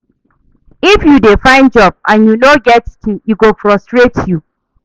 If you dey find job and you no get skills, e go frustrate you.